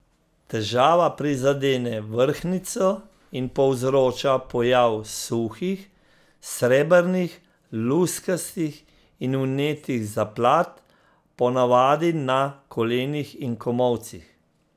Težava prizadene vrhnjico in povzroča pojav suhih, srebrnih, luskastih ali vnetih zaplat, po navadi na kolenih in komolcih.